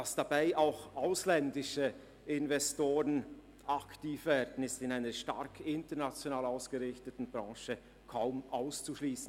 Dass dabei auch ausländische Investoren aktiv werden, ist in einer stark international ausgerichteten Branche kaum auszuschliessen.